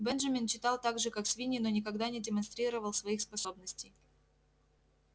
бенджамин читал так же как свиньи но никогда не демонстрировал своих способностей